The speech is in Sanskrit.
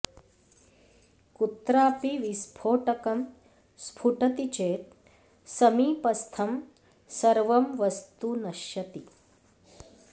कुत्रापि विस्फोटकं स्फुटति चेत् समीपस्थं सर्वं वस्तु नश्यति